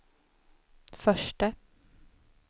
förste